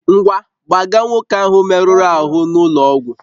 Ngwa, gbaga nwoke ahụ merụrụ ahụ n'ụlọ ọgwụ!